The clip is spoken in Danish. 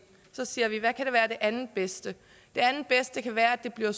siger vi hvad kan være det andetbedste det andetbedste kan være at det bliver